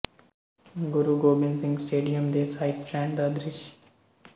ਗੁਰੂ Gobind Singh stadium ਦੇ side stand ਦਾ ਦ੍ਰਿਸ਼